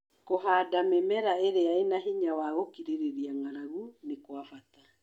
Kũhanda mĩmera ĩrĩa ĩna hinya wa gũkirĩrĩria ng'aragu nĩ kwa bata